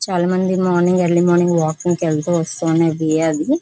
చాలామంది morning early morning walking కి వెళ్తూ వస్తూ ఉండే వే అది.